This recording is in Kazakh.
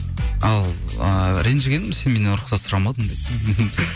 ал ыыы ренжігенім сен менен рұқсат сұрамадың деді